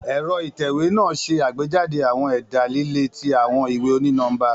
Ẹ̀rọ ìtẹ̀wé naa ṣe agbejade awọn ẹda lile ti awọn iwe oni-nọmba.